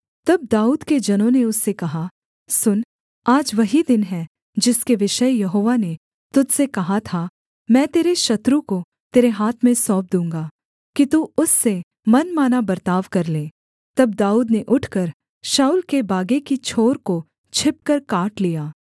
तब दाऊद के जनों ने उससे कहा सुन आज वही दिन है जिसके विषय यहोवा ने तुझ से कहा था मैं तेरे शत्रु को तेरे हाथ में सौंप दूँगा कि तू उससे मनमाना बर्ताव कर ले तब दाऊद ने उठकर शाऊल के बागे की छोर को छिपकर काट लिया